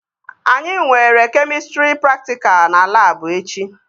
Anyị nwere kemịstrị praktikal na labụ echi